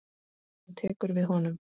Hún tekur við honum.